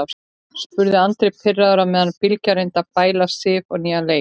spurði Andri pirraður á meðan Bylgja reyndi að bæla Sif á nýjan leik.